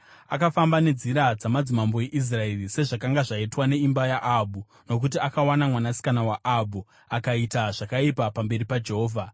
Akafamba nenzira dzamadzimambo eIsraeri, sezvakanga zvaitwa neimba yaAhabhu nokuti akawana mwanasikana waAhabhu. Akaita zvakaipa pamberi paJehovha.